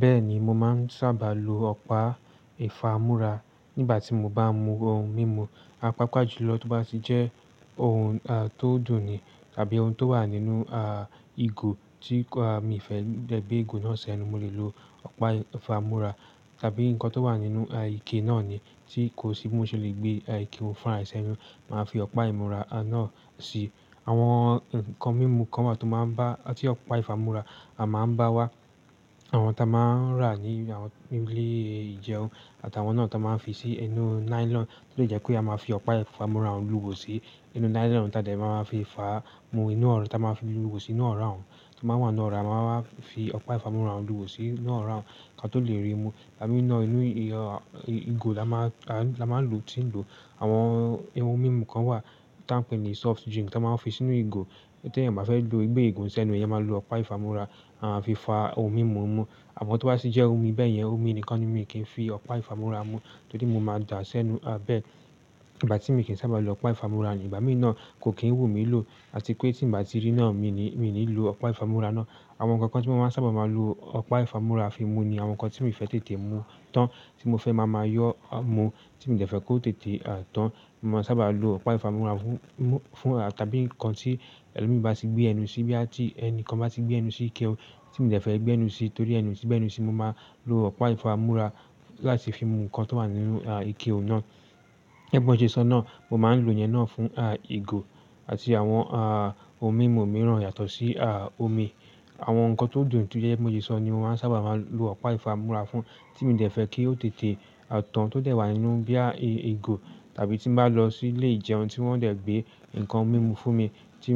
Bẹ́ẹ̀ni, mo máa ń sáabà lo ọ̀pá ìfámúra nígbà tí mo bá mú ohun mímu, pàápá jùlọ tó bá ti jẹ́ ohun tó dùn ni tàbí ohun tó wà nínú ìgò tí mi ò fẹ́ gbé ìgò náà s'ẹ́nu, mo lè lo ọ̀pá ìfámúra tàbí nǹkan tó wà nínú ike náà ni tí kò sí bí mo ṣe lè gbé ike náà fúnra ẹ s'ẹ́nu. Màá fi ọ̀pá ìfámúra náà sí àwọn ǹkan mímu kan wà tí ọ̀pá ìfámúra a má ń bá wá. Àwọn tí a má ń rà ní àwọn ilé ìjẹun àti àwọn náà tí wọ́n máa ń fi sí inú nylon, tó dẹ̀ jẹ́ pé a máa fi ọ̀pá ìfámúra ń lú ihò sí inú nylon táa dẹ̀ máa fi ifá mú inú ora ta máa ń fi lúwó sí inú ora tó máa wà nínú ora a máa wá fi ọ̀pá ìfámúra ń lúwó sí inú ora kí a tó lè rí mu. Ìgbà mìíràn inú ìgò la máa ń lò, tí ń lò àwọn ohun mímu kan wà ta ń pè ní soft drink tí wọ́n máa ń fi sínú ìgò. Tí ẹ̀yan o bá fẹ́ lo gbé ìgò sẹ́nu, ẹ̀yin máa lo ọ̀pá ìfámúra fi fá ohun mímu mu. Àwọn tó bá sì jẹ́ omi bẹ́ẹ̀ yẹn omi nìkan ni mi kì í fi ọ̀pá ìfámúra mú torí mo máa dà á sẹ́nu bẹ́ẹ̀. Ìgbà tí mi kì í sábà lo ọ̀pá ìfámúra ni ìgbà mìíràn kò kí ń wù mí lò àti pé tí n bá ti rí náà mi ní lo ọ̀pá ìfámúra náà. Àwọn ǹkan kan tí mo máa ń sábà máa lo ọ̀pá ìfámúra fi mú ni àwọn nǹkan tí mi fẹ́ tètè mu tán tí mo fẹ́ máa máa yọ́ mu tí mi ò dẹ̀ fẹ́ kó tètè tán. Mo sábà lo ọ̀pá ìfámúra fún tàbí nǹkan tí ẹlòmí bá ti gbé ẹnu sí bóyá ti ẹni kan bá ti gbé ẹnu sí ike tí mi ò fẹ́ gbé ẹnu sí torí ẹnu ò ṣe gbé ẹnu sí, mo máa lo ọ̀pá ìfámúra láti fi mú nǹkan tó wà nínú ike òun náà. Gẹ́gẹ́ bí mo ṣe sọ ná mo má ń lo ìyẹn ná fún ìgò àti àwọn òun mímu mìrà yàtọ̀ sí omi. Àwọn nǹkan tó dùn tó jẹ́ pé mo ṣe sọ ni mo máa ń sábà máa lo ọ̀pá ìfámúra fún tí mi ò dẹ̀ kí ó tètè tán tó dẹ̀ wà nínú bóyá ìgò tàbí tí n bá lọ sí ilé ìjẹun tí wọ́n dẹ̀ gbé nǹkan mímu fún mi tí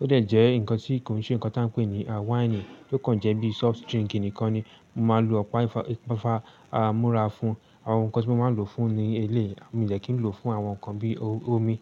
ó dẹ̀ jẹ́ nǹkan tí kò sí nǹkan táa ń pè ní wáìnì tó kàn jẹ́ bí i soft drink nìkan ni mo máa lo ọ̀pá ìfámúra fún. Àwọn nǹkan tí mo máa ń lo fún ni eléyì, mi ò dẹ̀ kí n lo fún àwọn nǹkan bí i omi.